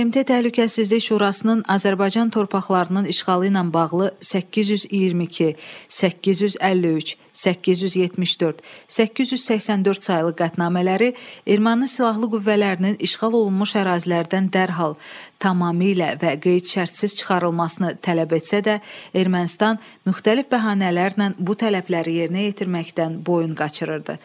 BMT Təhlükəsizlik Şurasının Azərbaycan torpaqlarının işğalı ilə bağlı 822, 853, 874, 884 saylı qətnamələri Erməni silahlı qüvvələrinin işğal olunmuş ərazilərdən dərhal, tamamilə və qeyd-şərtsiz çıxarılmasını tələb etsə də, Ermənistan müxtəlif bəhanələrlə bu tələbləri yerinə yetirməkdən boyun qaçırırdı.